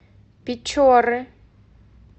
печоры